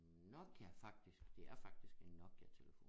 En Nokia faktisk det er faktisk en Nokiatelefon